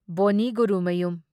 ꯕꯣꯟꯅꯤ Gurumayum